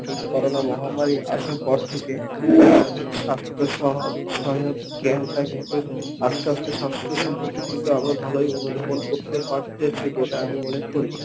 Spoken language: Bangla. কিন্তু করোনা মহামারী আসার পর থেকে, আমাদের স্বাস্থ্য সয়া সয়ায়ক জ্ঞানটা কিন্তু আস্তে আস্তে স্বাস্থ্য সম্পর্কে কিন্তু আমরা ভালোই অনুধাবন করতে পারতেছি বলে আমি মনে করি।